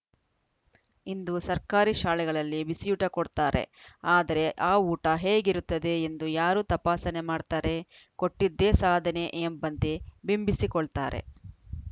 ಇಂದು ಸರ್ಕಾರಿ ಶಾಲೆಗಳಲ್ಲಿ ಬಿಸಿಯೂಟ ಕೊಡ್ತಾರೆ ಆದರೆ ಆ ಊಟ ಹೇಗಿರುತ್ತದೆ ಎಂದು ಯಾರು ತಪಾಸಣೆ ಮಾಡ್ತಾರೆ ಕೊಟ್ಟಿದ್ದೇ ಸಾಧನೆ ಎಂಬಂತೆ ಬಿಂಬಿಸಿಕೊಳ್ತಾರೆ